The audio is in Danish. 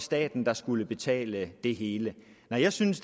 staten der skulle betale det hele nej jeg synes